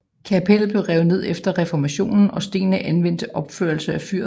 Kapellet blev revet ned efter reformationen og stenene anvendt til opførelsen af fyret